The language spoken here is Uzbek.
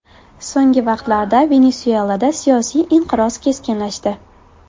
So‘nggi vaqtlarda Venesuelada siyosiy inqiroz keskinlashdi.